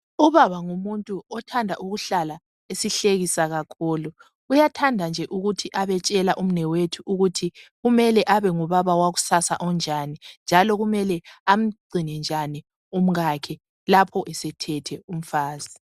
Ubaba ngumuntu othanda ukuhlala esihlekisa kakhulu. Uyathanda nje ukube abetshela umnewethu ngokuthi kumele abengubaba wakusasa onjani njalo kumele amgcine njani umkakhe lapho esethethe umfazi.